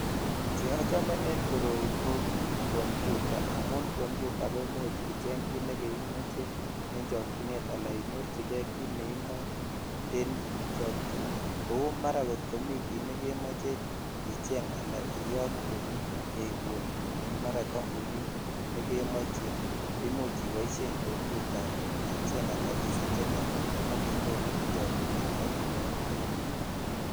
Che ochome en koroi ko computer amun computer, koiimuhmche icheng kut neimoche ala inyorchikei kit neimoe en chokchinet kou mara kit komi kit nekemoche icheng aliyote jeibun en mara kambunit ne jemoche ko imuch iboishen [cs[computer [cs[ icheng as isachenen ak inyoru en chokchinet ak iyotee .